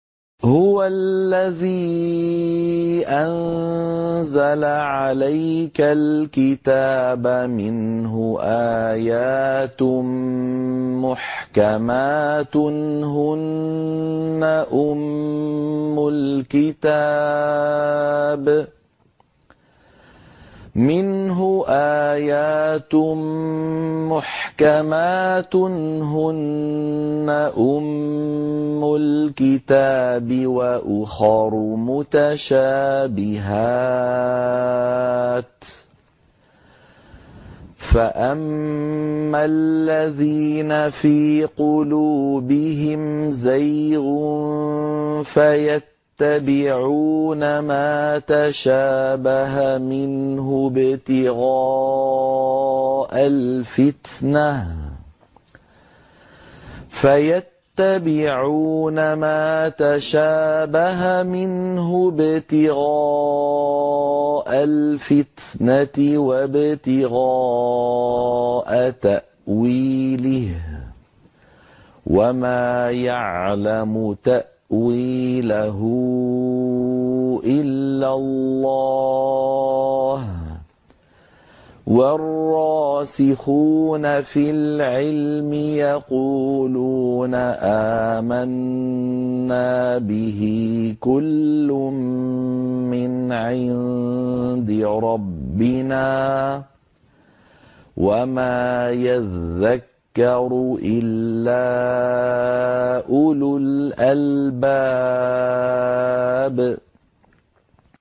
هُوَ الَّذِي أَنزَلَ عَلَيْكَ الْكِتَابَ مِنْهُ آيَاتٌ مُّحْكَمَاتٌ هُنَّ أُمُّ الْكِتَابِ وَأُخَرُ مُتَشَابِهَاتٌ ۖ فَأَمَّا الَّذِينَ فِي قُلُوبِهِمْ زَيْغٌ فَيَتَّبِعُونَ مَا تَشَابَهَ مِنْهُ ابْتِغَاءَ الْفِتْنَةِ وَابْتِغَاءَ تَأْوِيلِهِ ۗ وَمَا يَعْلَمُ تَأْوِيلَهُ إِلَّا اللَّهُ ۗ وَالرَّاسِخُونَ فِي الْعِلْمِ يَقُولُونَ آمَنَّا بِهِ كُلٌّ مِّنْ عِندِ رَبِّنَا ۗ وَمَا يَذَّكَّرُ إِلَّا أُولُو الْأَلْبَابِ